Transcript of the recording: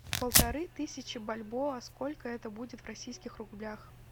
полторы тысячи бальбоа сколько это будет в российских рублях